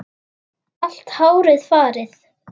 Allt hárið farið.